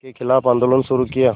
के ख़िलाफ़ आंदोलन शुरू किया